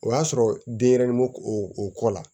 O y'a sɔrɔ denyɛrɛnin ma o o kɔ la